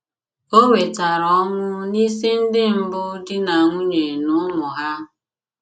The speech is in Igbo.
O wetara ọnwụ n'isi ndị mbụ di na nwunye na ụmụ ha.